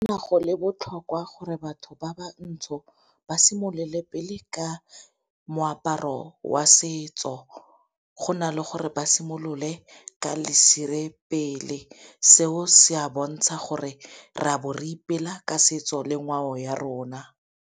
go le botlhokwa gore batho ba ba ntsho ba simolole pele ka moaparo wa setso, go na le gore ba simolole ka lesire pele. Seo se a bontsha gore re a bo re ipela ka setso le ngwao ya rona.